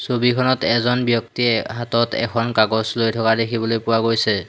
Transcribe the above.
ছবিখনত এজন ব্যক্তিয়ে হাতত এখন কাগজ লৈ থকা দেখিবলৈ পোৱা গৈছে।